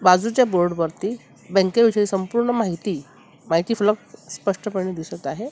बाजूच्या बोर्ड वरती बँके विषयी संपूर्ण माहिती माहिती फिलिप स्पष्टपणे दिसत आहे.